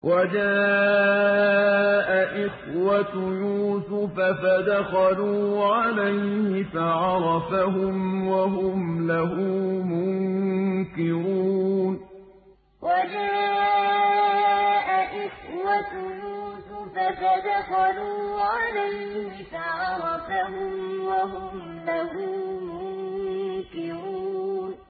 وَجَاءَ إِخْوَةُ يُوسُفَ فَدَخَلُوا عَلَيْهِ فَعَرَفَهُمْ وَهُمْ لَهُ مُنكِرُونَ وَجَاءَ إِخْوَةُ يُوسُفَ فَدَخَلُوا عَلَيْهِ فَعَرَفَهُمْ وَهُمْ لَهُ مُنكِرُونَ